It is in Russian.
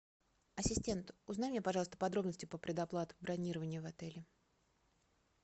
ассистент узнай мне пожалуйста подробности про предоплату бронирования в отеле